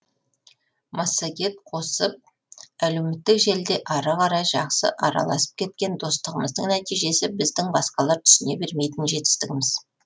массагет қосып әлеуметтік желіде ары қарай жақсы араласып кеткен достығымыздың нәтижесі біздің басқалар түсіне бермейтін жетістігіміз